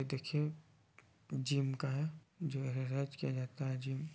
यह देखिये जिम का है जो है रोज किया जाता है जिम